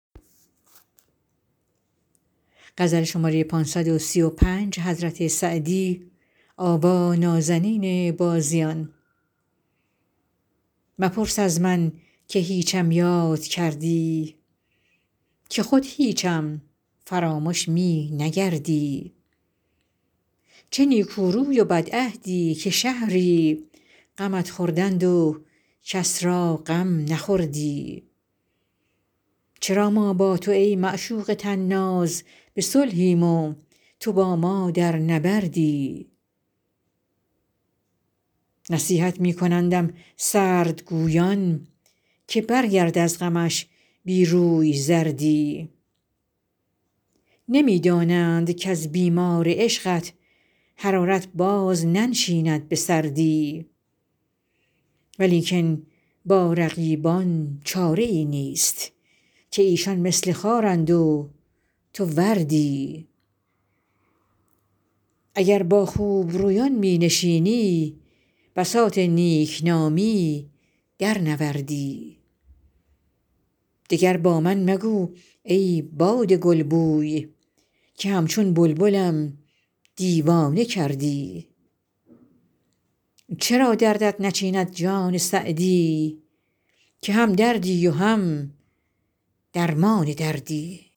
مپرس از من که هیچم یاد کردی که خود هیچم فرامش می نگردی چه نیکو روی و بدعهدی که شهری غمت خوردند و کس را غم نخوردی چرا ما با تو ای معشوق طناز به صلحیم و تو با ما در نبردی نصیحت می کنندم سردگویان که برگرد از غمش بی روی زردی نمی دانند کز بیمار عشقت حرارت باز ننشیند به سردی ولیکن با رقیبان چاره ای نیست که ایشان مثل خارند و تو وردی اگر با خوبرویان می نشینی بساط نیک نامی درنوردی دگر با من مگوی ای باد گلبوی که همچون بلبلم دیوانه کردی چرا دردت نچیند جان سعدی که هم دردی و هم درمان دردی